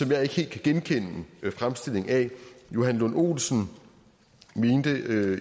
jeg ikke helt kan genkende fremstillingen af johan lund olsen mente i